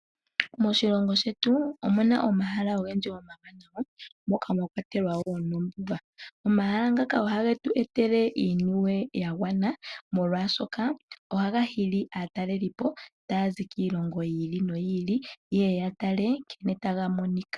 Moshilongo shetu omuna omahala ogendji yomamanya moka mwa kwatelwa woo oondundu. Omahala ngaka ohage tu etele iimaliwa ya gwana molwaashoka ohaga hili aatalelipo taya zi kiilongo yi ili no yi ili yeye ya tale sho taga monika.